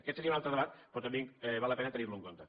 aquest seria un altre debat però també val la pena tenir lo en compte